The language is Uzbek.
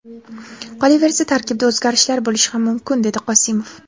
Qolaversa, tarkibda o‘zgarishlar bo‘lishi ham mumkin”, dedi Qosimov.